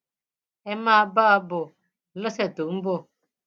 ẹ máa bá a bọ lọsẹ tó ń bọ